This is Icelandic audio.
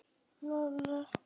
Samruni með stofnun nýs félags.